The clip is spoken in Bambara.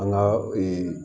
An ka